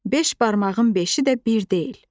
Beş barmağın beşi də bir deyil.